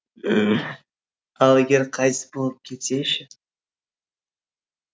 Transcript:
ал егер қайтыс боп кетсе ше